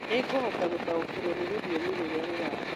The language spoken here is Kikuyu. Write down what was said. Nĩ ngũhota gũtaũkĩrũo nĩ rũthiomi rũrĩa rurarĩo